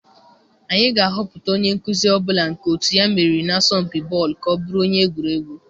Anyị ga-ahọpụta onye nkuzi ọ bụla nke otu ya meriri n'asọmpị bọọlụ ka ọ bụrụ onye egwuregwu.